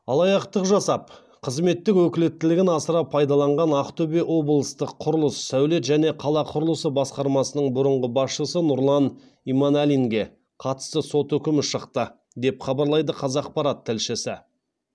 алаяқтық жасап қызметтік өкілеттілігін асыра пайдаланған ақтөбе облыстық құрылыс сәулет және қала құрылысы басқармасының бұрынғы басшысы нұрлан иманалинге қатысты сот үкімі шықты деп хабарлайды қазақпарат тілшісі